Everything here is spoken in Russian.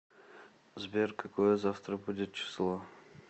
сбер какое завтра будет число